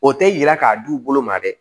O tɛ yira k'a d'u bolo ma dɛ